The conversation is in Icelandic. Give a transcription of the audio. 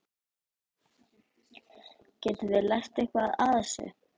Getum við lært eitthvað af þessu?